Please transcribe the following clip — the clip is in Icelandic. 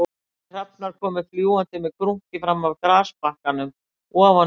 Tveir hrafnar komu fljúgandi með krunki fram af grasbakkanum ofan við braggana